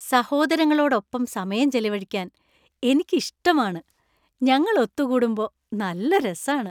സഹോദരങ്ങളോടൊപ്പം സമയം ചെലവഴിക്കാൻ എനിക്ക് ഇഷ്ടമാണ്. ഞങ്ങൾ ഒത്തുകൂടുമ്പോ നല്ല രസാണ്.